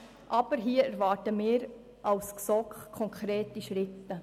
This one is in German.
Aber hier erwarten wir als GSoK konkrete Schritte.